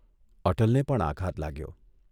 અટલને પણ આઘાત લાગ્યો.